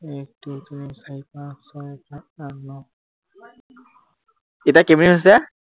এক দুই তিনি চাৰি পাঁচ ছয় সাাত আঠ ন এতিয়া কেই মিনিট হৈছে?